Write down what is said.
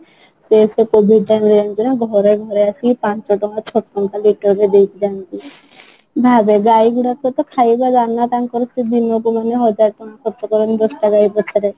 କେତେ ନା ଘର ଘର ଆସି ପାଞ୍ଚ ଟଙ୍କା ଛଅ ଟଙ୍କା ଲିଟର ରେ ଦେଇକି ଯାଆନ୍ତି ଭାବେ ଗାଈଗୁଡ଼ାକ ର ତ ଖାଇବା ଦାନା ତାଙ୍କର କିଣିବାକୁ ମାନେ ହଜାର ଟଙ୍କା ଖର୍ଚ୍ଚ କରନ୍ତି ଦଶ ଟା ଗାଈ ପଛରେ